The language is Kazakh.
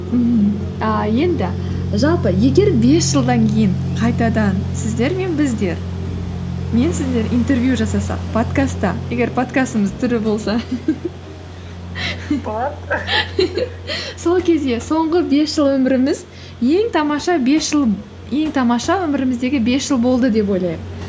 мхм а енді жалпы егер бес жылдан кейін қайтадан сіздер мен біздер мен сіздер интервью жасасақ подкастта егер подкастымыз тірі болса болады сол кезде соңғы бес жыл өміріміз ең тамаша өміріміздегі бес жыл болды деп ойлайық